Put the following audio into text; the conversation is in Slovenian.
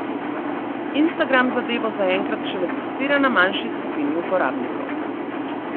Instagram zadevo zaenkrat šele testira na manjši skupini uporabnikov.